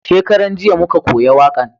Shakaran jiya muka koya wakan